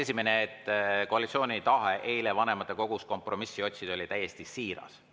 Kõigepealt, koalitsiooni tahe eile vanematekogus kompromissi otsida oli täiesti siiras.